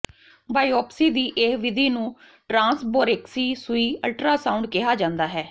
biopsy ਦੀ ਇਹ ਵਿਧੀ ਨੂੰ ਟਰਾਂਸਬੋਰੇਕਸੀ ਸੂਈ ਅਲਟਰਾਸਾਉਂਡ ਕਿਹਾ ਜਾਂਦਾ ਹੈ